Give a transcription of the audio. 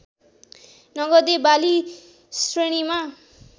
नगदे बाली श्रेणीमा